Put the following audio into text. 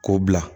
K'o bila